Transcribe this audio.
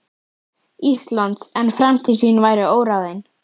Íslands, en framtíð sín væri óráðin.